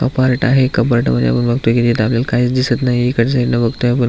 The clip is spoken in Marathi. कपारट आहे कपारट मधे आपण बगतोय कि तिथ आपल्याला काहीच दिसत नाही इकडच्या साइडन बगतोय आपण --